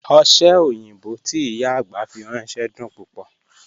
Oṣẹ́ oyinbọ́ tí ìyá agbá fi rànṣẹ̀ dún púpọ̀.